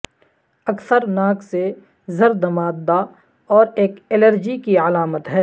اکثر ناک سے زرد مادہ اور ایک الرجی کی علامت ہے